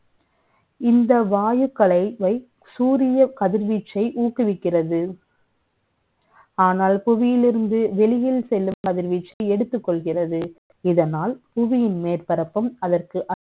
இந்தவாயுக்களை, சூரிய கதிர்வச்ீ சை ஊக்குவிக்கிறது . ஆனால், புவியில் இருந்து வெ ளியில் செ ல்லும் கதிர்வச்ீ சு எடுத்துக் க ொள்கிறது இதனால், புவியின் மே ற்பரப்பும், அதற்கு